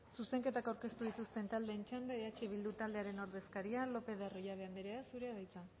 zuzenketak aurkeztu dituzten taldeen txanda eh bildu taldearen ordezkaria lopez de arroyabe anderea zurea da hitza